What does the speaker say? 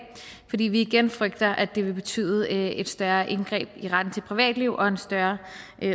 fordi vi igen frygter at det vil betyde et større indgreb i retten til privatliv og en større